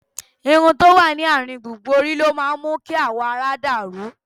Irun tó wà ní àárín gbùngbùn orí ló máa ń mú kí awọ ara dà rú